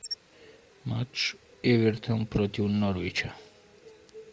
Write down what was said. матч эвертон против норвича